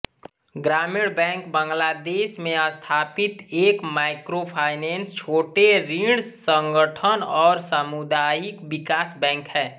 ग्रामीण बैंक बांग्लादेश में स्थापित एक माइक्रोफाइनेंस छोटे ऋण संगठन और सामुदायिक विकास बैंक है